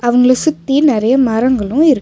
அவங்கள சுத்தி நிறைய மரங்களும் இருக்கு.